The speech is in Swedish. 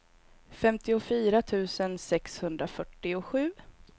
femtiofyra tusen sexhundrafyrtiosju